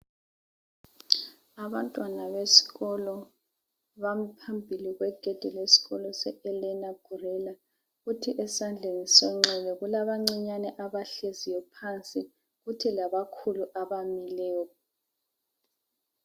Abantwana besikolo bami phambili kwegedi lesikolo seElena Guerra kuthi esandleni sokunxele kulabancinyane abahleziyo phansi kuthi labakhulu abamileyo.